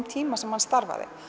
tímann sem hann starfaði